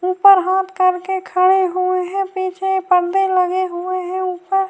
اوپر ہاتھ کر کے کھڑے ہوئے ہیں پیچھے پردے لگے ہوئے ہیں اوپر